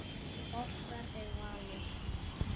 Okkar er valið.